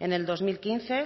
en el dos mil quince